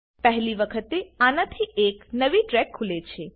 પહેલી વખતે આનાથી એક નવી ટ્રેક ખુલે છે